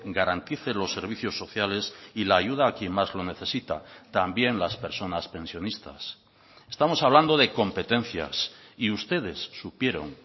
garantice los servicios sociales y la ayuda a quien más lo necesita también las personas pensionistas estamos hablando de competencias y ustedes supieron